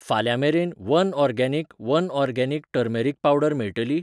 फाल्यां मेरेन one organic one organic turmeric powder मेळटली?